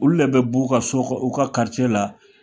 Olu de bɛ b'u ka so kɔnɔ u ka karicɛ la